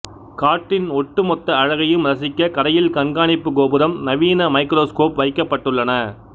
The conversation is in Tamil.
காட்டின் ஒட்டுமொத்த அழகையும் ரசிக்க கரையில் கண்காணிப்பு கோபுரம் நவீன மைக்ரோஸ்கோப் வைக்கப்பட்டுள்ளன